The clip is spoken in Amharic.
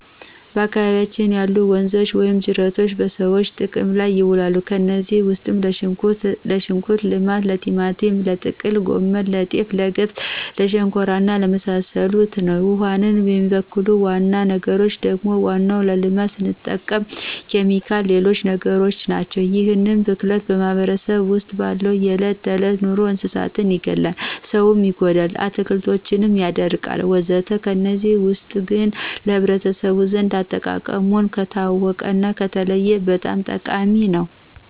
በአካባቢያችን ያሉ ወንዞች ወይም ጅረቶች በሰዎች ጥቅም ላይ ይውላሉ። ከነዚህም ውስጥ ለሽንኩርት ልማት፣ ለቲማቲም፣ ለጥቅል ጎመን፣ ለጤፍ፣ ለገብስ ለሸንኮራ እና ለመሳሰሉት ነው። ውሃውን የሚበክሉ ዋና ዋና ነገሮች ደግሞ ዋናው ለልማት ስንጠቀምበት ኬሚካሎችና ሌሎች ነገሮችናቸው። ይህ ብክለት በማህበረሰባችን ውስጥ ባለው የዕለት ተዕለት ኑሮ እንስሳትን ይገላል፣ ሰው ይጎዳል፣ አትክልቶችን ያደርቃልወዘተ ከነዚህ ውስጥ ግን ለህብረተሰቡ ዘንድ አጠቃቀሙን ከታወቀና ከተለየ በጣም ጠቃሚ ነው።